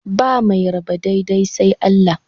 Ba mai raba daidai sai Allah.